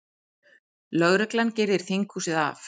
Lögreglan girðir þinghúsið af